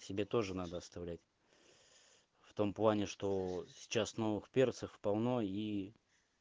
себе тоже надо оставлять в том плане что сейчас новых перцев полно и